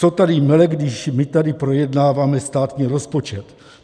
Co tady mele, když my tady projednáváme státní rozpočet?